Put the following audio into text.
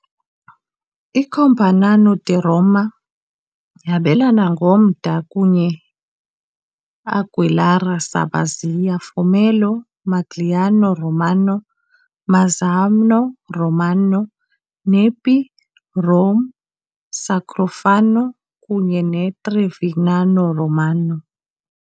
ICampagnano di Roma yabelana ngomda kunye Anguillara Sabazia, Formello, Magliano Romano, Mazzano Romano, Nepi, Rome, Sacrofano, kunye Trevignano Romano.